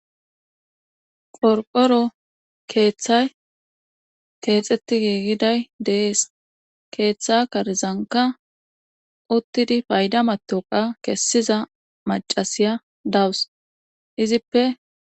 qorqoro keeththay keexetti giigiday dees keeththa karizanka uttidi payda matoqa kessiza macasiya dawus izippe